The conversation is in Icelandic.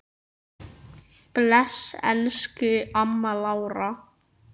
Bless, elsku amma Lára.